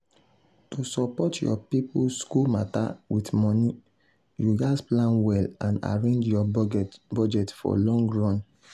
to support your people school matter with money you gats plan well and arrange your budget for long run.